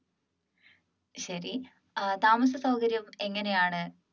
ശരി താമസസൗകര്യം എങ്ങനെയാണ്